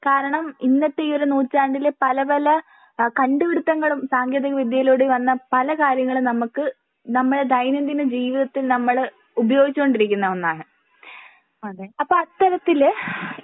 കാരണം ഇന്നത്തെ ഈ ഒരു നൂറ്റാണ്ടില് പല പല ഏഹ് കണ്ടു പിടുത്തങ്ങളും സാങ്കേന്തിക വിദ്യയിലൂടെ വന്ന പല കാര്യങ്ങളും നമ്മക്ക് നമ്മുടെ ദൈനംദിന ജീവിതത്തിൽ നമ്മള് ഉപയോഗിച്ചു കൊണ്ടിരിക്കുന്ന ഒന്നാണ്. അപ്പൊ അത്തരത്തില്